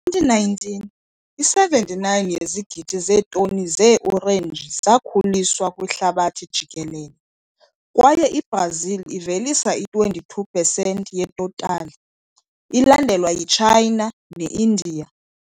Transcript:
Ngo-2019, i-79 yezigidi zeetoni zeeorenji zakhuliswa kwihlabathi jikelele, kwaye iBrazil ivelisa i-22 pesenti yetotali, ilandelwa yi-China ne-Indiya.